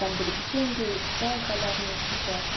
там были печеньки к чаю халявные вообще классно